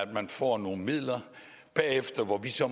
man får nogle midler og bagefter må vi så